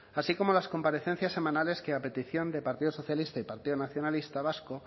así como las comparecencias semanales que a petición de partido socialista y partido nacionalista vasco